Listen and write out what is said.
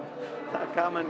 það er gaman